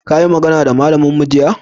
ka yi magana da malamin mu jiya?